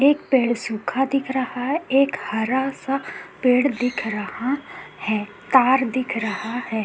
एक पेड़ सूखा दिख रहा है एक हरा सा पेड़ दिख रहा है तार दिख रहा है।